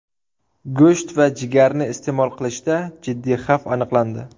Go‘sht va jigarni iste’mol qilishda jiddiy xavf aniqlandi.